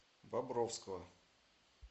бобровского